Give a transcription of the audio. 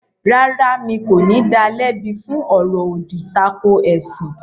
Rárá, mi kò ní da lẹ́bi fún “ ọ̀rọ̀-òdì tako ẹ̀sìn ”.